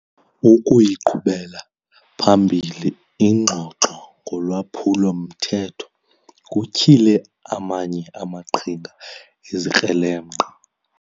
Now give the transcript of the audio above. Ukuyiqhubela phambili ingxoxo ngolwaphulo-mthetho kutyhile amanye amaqhinga ezikrelemnqa.